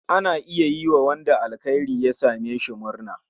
Ana iya yiwa wanda alkhairi ya same shi murna.